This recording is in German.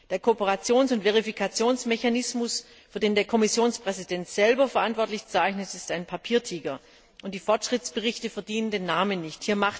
Der Kooperations und Verifikationsmechanismus, für den der Kommissionspräsident selber verantwortlich zeichnet, ist ein Papiertiger, und die Fortschrittsberichte verdienen den Namen nicht.